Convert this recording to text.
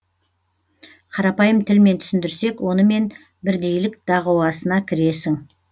қарапайым тілмен түсіндірсек онымен бірдейлік дағуасына кіресің